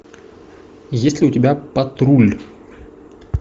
есть ли у тебя патруль